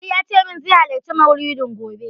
Ali yace min zai halarci maulidin gobe.